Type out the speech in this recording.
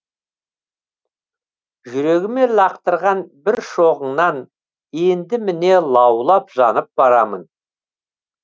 жүрегіме лақтырған бір шоғыңнан енді міне лаулап жанып барамын